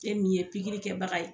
E min ye pikiri kɛbaga ye